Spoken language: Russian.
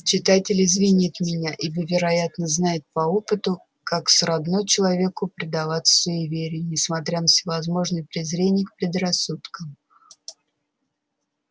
читатель извинит меня ибо вероятно знает по опыту как сродно человеку предаваться суеверию несмотря на всевозможное презрение к предрассудкам